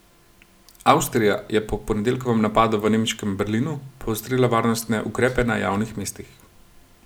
Avstrija je po ponedeljkovem napadu v nemškem Berlinu poostrila varnostne ukrepe na javnih mestih.